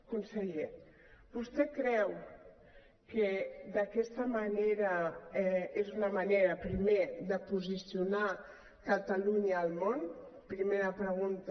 conseller vostè creu que aquesta és la manera primer de posicionar catalunya al món primera pregunta